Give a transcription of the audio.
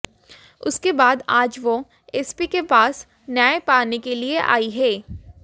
उसके बाद आज वह एसपी के पास न्याय पाने के लिए आई है